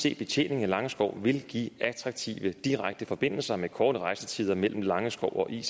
ic betjening af langeskov vil give attraktive direkte forbindelse med korte rejsetider mellem langeskov og ic